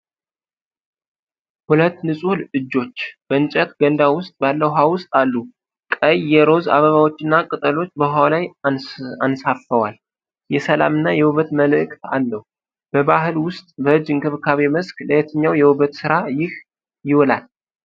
ሁለት ንጹህ እጆች በእንጨት ገንዳ ውስጥ ባለ ውኃ ውስጥ አሉ። ቀይ የ ሮዝ አበባዎች እና ቅጠሎች በውኃው ላይ አንሳፈዋል። የሰላም እና የውበት መልዕክት አለው። በባህል ውስጥ በእጅ እንክብካቤ መስክ ለየትኛው የውበት ሥራ ይህ ይውላል?